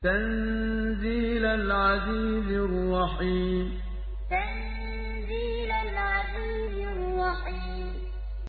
تَنزِيلَ الْعَزِيزِ الرَّحِيمِ تَنزِيلَ الْعَزِيزِ الرَّحِيمِ